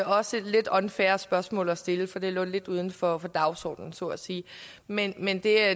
også et lidt unfair spørgsmål at stille for det lå lidt uden for dagsordenen så at sige men men det er